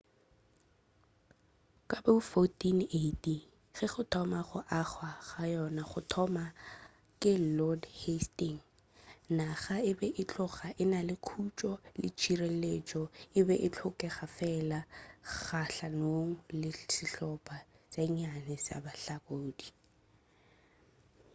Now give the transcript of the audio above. ka bo 1480 ge go thoma go agwa ga yona go thoma ke lord hasting naga e be e tloga e na le khutšo le tšhireletšo e be e hlokega fela kgahlanong le sihlopa tše nnyane tša bahlakodi